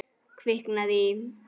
Kviknað í.